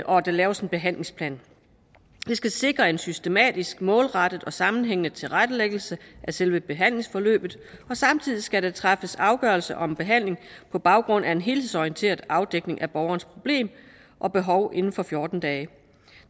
og at der laves en behandlingsplan det skal sikre en systematisk målrettet og sammenhængende tilrettelæggelse af selve behandlingsforløbet og samtidig skal der træffes afgørelse om behandling på baggrund af en helhedsorienteret afdækning af borgerens problem og behov inden for fjorten dage